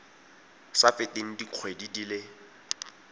sa feteng dikgwedi di le